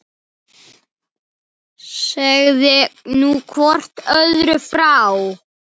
Hugsaðu þér bara!